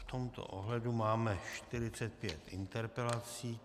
V tomto ohledu máme 45 interpelací.